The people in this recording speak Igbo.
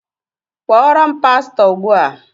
Kpọọrọ m pastọ Ugbu a!